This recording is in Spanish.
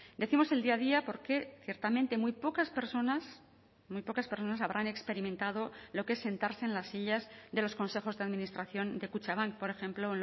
decimos el día a día porque ciertamente muy pocas personas muy pocas personas habrán experimentado lo que es sentarse en las sillas de los consejos de administración de kutxabank por ejemplo